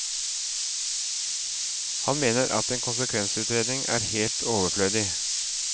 Han mener at en konsekvensutredning er helt overflødig.